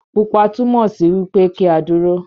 Pupa túmọ sí wipe ki a dúró.